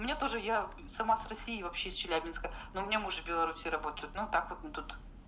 мне тоже я сама с россии и вообще из челябинска ну у меня муж в беларусии работает но так мы тут